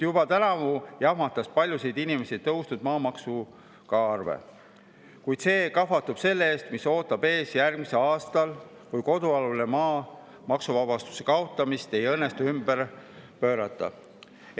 Juba tänavu jahmatas paljusid inimesi maamaksu tõusu tõttu suur arve, kuid see kahvatub selle ees, mis ootab ees järgmisel aastal, kui kodualuse maa maksuvabastuse kaotamist ei õnnestu.